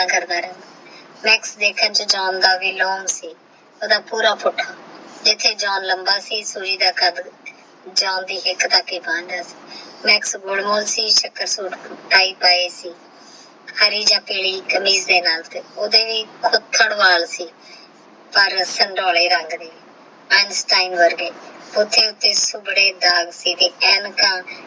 ਹਾਰੇ ਯਾ ਓਈਦੇ ਕੁਖਾਦ ਵਾਲ ਸੀ ਪਰ ਸਿੰਧੋਲੇ ਰੰਡ ਦੇ ਅਨ੍ਸ੍ਤਿਨੇ ਵਰਗੇ ਓਹ੍ਤੇ ਉੱਤੇ ਆਂਖਾ